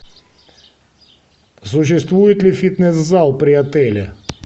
существует ли фитнес зал при отеле